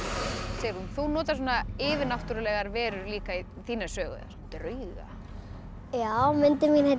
Sigrún þú notar yfirnáttúrulegar verur líka í þína sögu drauga myndin mín heitir